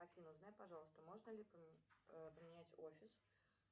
афина узнай пожалуйста можно ли поменять офис